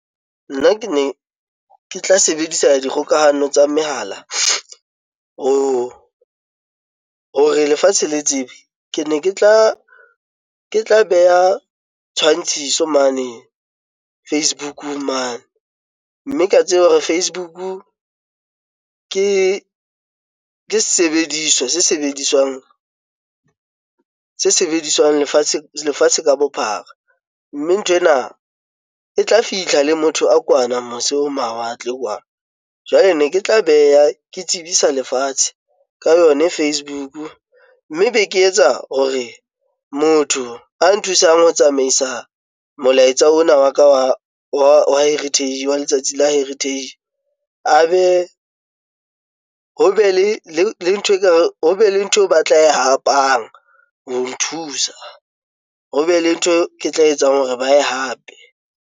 Nna ke ne ke tla sebedisa dikgokahano tsa mehala, or hore lefatshe le tsebe. Ke ne ke tla ke tla beha tshwantshiso mane Facebook mane, mme ke ya tseba hore Facebook ke sesebediswa se sebediswang se sebediswang lefatshe lefatshe ka bophara mme nthwena e tla fihla le motho a kwana mose ho mawatle. Jwale ne ke tla beha ke tsebisa lefatshe ka yona Facebook, mme be ke etsa hore motho a nthusang ho tsamaisa molaetsa ona wa ka wa wa Heritage wa letsatsi la Heritage, a be ho be le le ntho ekare ho be le ntho eo ba tla hapang ho nthusa. Ho be le ntho Ke tla etsang hore ba ye hape.